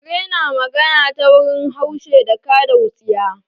Kare na magana ta wurin haushe da kada wutsiya